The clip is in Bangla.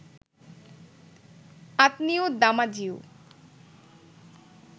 আঁতনিউ দামাজিউ